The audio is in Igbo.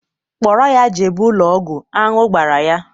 Kpọrọ ya jebe ụlọ ọgwụ, aṅụ gbara ya!